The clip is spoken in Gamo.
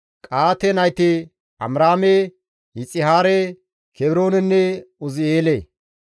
Qa7aate nayti Amiraame, Yixihaare, Kebroonenne Uzi7eele;